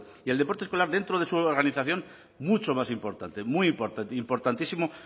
y el deporte escolar dentro de su organización mucho más importante muy importante importantísimo